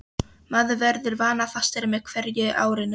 Maður verður vanafastari með hverju árinu.